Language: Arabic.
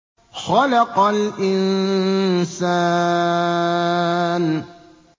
خَلَقَ الْإِنسَانَ